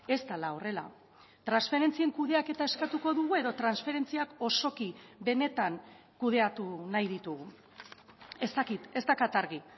ez dela horrela transferentzien kudeaketa eskatuko dugu edo transferentziak osoki benetan kudeatu nahi ditugu ez dakit ez daukat argi